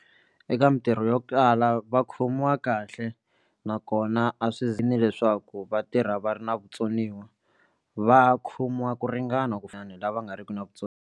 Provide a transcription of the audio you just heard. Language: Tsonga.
Eka mitirho yo kala va khomiwa kahle nakona a swi leswaku va tirha va ri na vutsoniwa va khomiwa ku ringana ku la va nga ri ki na vutsoniwa.